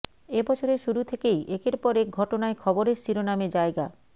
এ বছরের শুরু থেকেই একের পর এক ঘটনায় খবরের শিরোনামে জায়গা